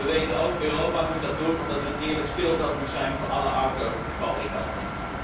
En wij weten ook dat Europa dat moet doen omdat er een eerlijk speelveld moet zijn voor alle autofabrikanten.